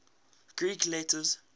greek letters